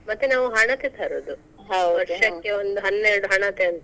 ಮತ್ತೆ ನಾವ್ ಹಣತೆ ತರೋದು. ವರ್ಷಕ್ಕೆ ಒಂದ್ ಹನ್ನೆರಡ್ ಹಣತೆ ಅಂತ.